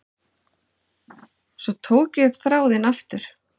Svo tók ég upp þráðinn aftur.